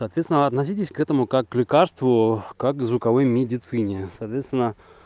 соответственно относитесь к этому как к лекарству как к звуковой медицине соответственно